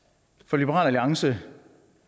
liberal alliance